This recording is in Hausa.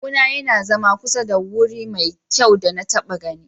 Kawuna ya na zama kusa da wuri mafi kyau da na taba gani.